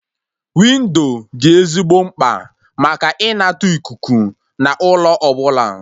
Windo dị ezigbo mkpa maka ịnata ikuku na ụlọ ọbụla